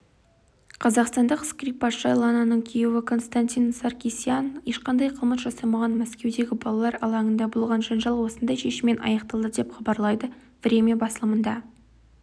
қазақстандық скрипкашы лананың күйеуі константин саркисян ешқандай қылмыс жасамаған мәскеудегі балалар алаңында болған жанжал осындай шешіммен аяқталды деп хабарлайды время басылымына